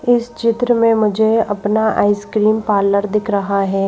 इस चित्र में मुझे अपना आइसक्रीम पार्लर दिख रहा है।